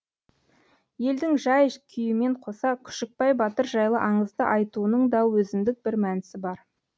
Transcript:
елдің жай күйімен қоса күшікбай батыр жайлы аңызды айтуының да өзіндік бір мәнісі бар